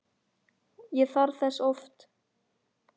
Ég þarf þess oft.